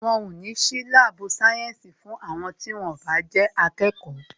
Wọn o ní sí láàbù sayensi fún àwọn tí wón o bá jẹ́ akẹ́kọ̀ọ́